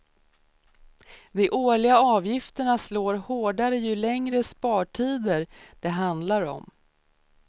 De årliga avgifterna slår hårdare ju längre spartider det handlar om.